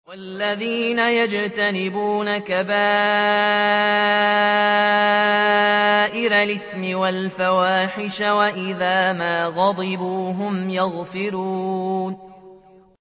وَالَّذِينَ يَجْتَنِبُونَ كَبَائِرَ الْإِثْمِ وَالْفَوَاحِشَ وَإِذَا مَا غَضِبُوا هُمْ يَغْفِرُونَ